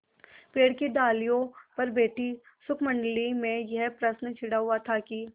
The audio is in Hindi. पेड़ की डालियों पर बैठी शुकमंडली में यह प्रश्न छिड़ा हुआ था कि